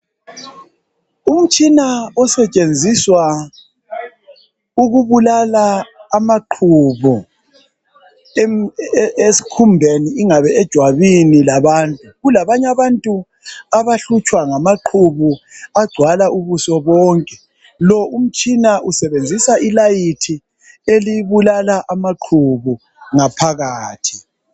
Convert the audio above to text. Umtshina osetshenziswa ukubulala amaqhubu esikhumbeni ingabe ejwabini labantu kulabanye abantu abahlutshwa ngamaqhubu agcwala ubuso bonke lo umtshina usebenzisa ilayithi elibulala amaphubu ngaphakathi